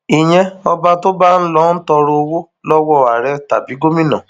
ìyẹn ọba tó bá ń lọo tọrọ owó lọwọ àárẹ tàbí gómìnà